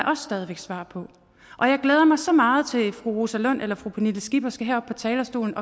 også stadig væk svar på og jeg glæder mig så meget til at fru rosa lund eller fru pernille skipper skal herop på talerstolen